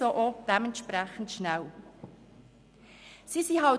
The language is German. Dementsprechend schnell lernen sie die Sprache.